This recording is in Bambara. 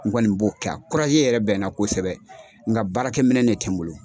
N kɔni b'o kɛ a yɛrɛ bɛ n na kosɛbɛ nka baarakɛminɛn de tɛ n bolo.